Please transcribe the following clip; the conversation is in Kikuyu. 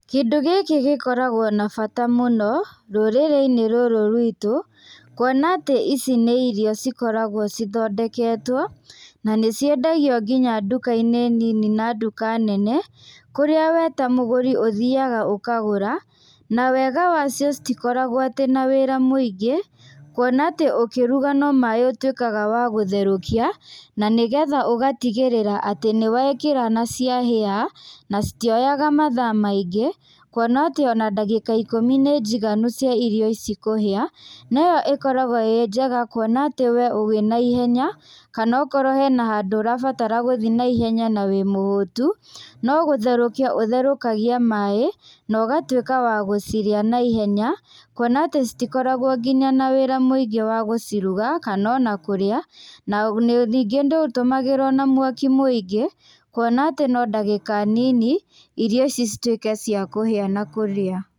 Kĩndũ gĩkĩ gĩkoragwo na bata mũno rũrĩrĩ-inĩ rũrũ rwitũ, kuona atĩ ici nĩ irio cikoragwo cithondeketwo, na nĩciendagio nginya nduka-inĩ nini na nduka nene, kũrĩa we ta mũgũri ũthiaga ũkagũra, na wega wacio citikoragwo atĩ na wĩra mũingĩ, kuona atĩ ũkĩruga no maĩ ũtwĩkaga wa gũtherũkia, na nĩgetha ũgatigĩrĩra atĩ nĩwekĩra na cia hĩa, na citioyaga mathaa maingĩ, kuona atĩ ona ndagĩka ikũmi nĩ njiganu cia irio ici kũhĩa, noyo ĩkoragwo ĩ njega kuona atĩ we ũrĩ an ihenya, kana akorwo hena handũ ũrabatara gũthi naihenya na wí mũhũtu, nogũtherúkia ũtherũkagia maĩ, nogatwĩka wa gũcirĩa na ihenya, kuona atĩ citikoragwo nginya na wĩra mũingĩ wa gũciruga, kanona kũrĩa, na nĩ ningĩ ndĩtũmagĩrwo na mwaki mũingĩ, kuona atĩ no ndagĩka nini, irio ici citwĩke cia kũhia na kũrĩa.